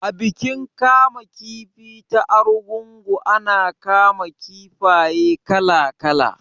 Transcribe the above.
A bikin kama kifi ta Argungu ana kama kifaye kala kala